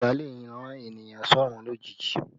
Ibà lè rán ènìyàn sọ́rún lójijì